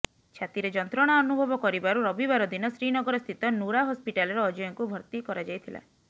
ଛାତିରେ ଯନ୍ତ୍ରଣା ଅନୁଭବ କରିବାରୁ ରବିବାର ଦିନ ଶ୍ରୀନଗର ସ୍ଥିତ ନୁରା ହସ୍ପିଟାଲରେ ଅଜୟଙ୍କୁ ଭର୍ତି କରାଯାଇଥିଲା